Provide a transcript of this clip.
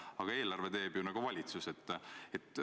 Aga eelarve teeb ju valitsus.